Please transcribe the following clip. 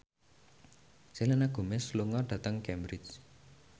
Selena Gomez lunga dhateng Cambridge